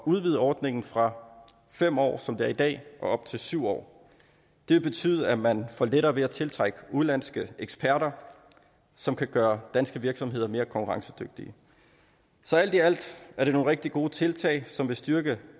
udvide ordningen fra fem år som det er i dag og op til syv år det vil betyde at man får lettere ved at tiltrække udenlandske eksperter som kan gøre danske virksomheder mere konkurrencedygtige så alt i alt er det nogle rigtig gode tiltag som vil styrke